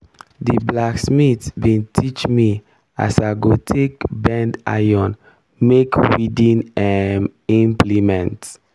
di blacksmith bin teach me as i go take bend iron make weeding um implement.